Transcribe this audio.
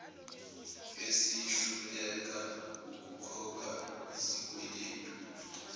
esihluleka ukukhokha izikweletu